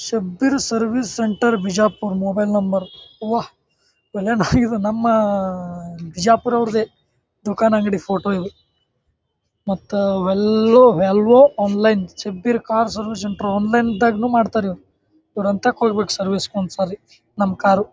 Shabbir service centre Bijapur mobile number ವಾಹ್! ಇದ್ ನಮ್ಮ ಬಿಜಾಪುರ್ ಅವ್ರ್ದೆ ದುಕಾನ್ ಅಂಗಡಿ ಫೋಟೋ ಇದ್. ಮತ್ತ ವ್ಯಾಲವೊ online Shabbir car service centre online ಇದ್ದಾಗನು ಮಾಡತರ್ ಇವ್ರು. ಇವ್ರ ಅಂತ ಕೊಡಬೇಕು ಸರ್ವಿಸ್ ಒನ್ ಸರಿ ನಮ್ಮ ಕಾರು .